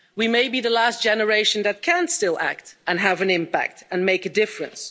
we may be the last generation that can still act and have an impact and make a difference.